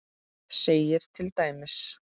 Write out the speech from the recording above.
segir til dæmis